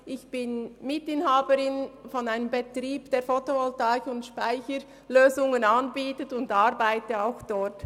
Ich bin Mitinhaberin eines Betriebs, der Fotovoltaik- und Speicherlösungen anbietet, und arbeite auch dort.